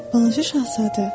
Balaca şahzadə.